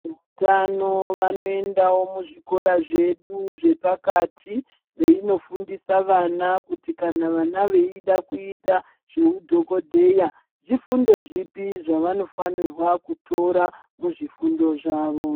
Utano vanoendawo muzvikora zvedu zvepakati veinofundisa vana kuti kana vana veida kuita zvehudhogodheya, zvifundo zvipi zvavanofanirwa kutora muzvifundo zvavo.